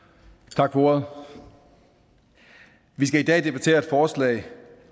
tak for ordet vi skal i dag debattere et forslag